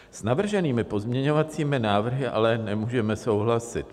S navrženými pozměňovacími návrhy ale nemůžeme souhlasit.